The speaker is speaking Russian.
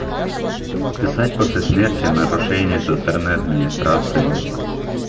писать после смерти нарушения со стороны администрации